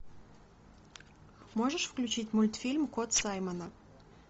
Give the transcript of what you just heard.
можешь включить мультфильм кот саймона